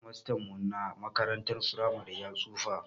Shedimastan mu na makarantar firamare ya tsufa